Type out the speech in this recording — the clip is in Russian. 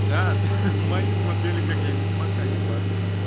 да ха-ха мои смотрели как я ведьмака ебашу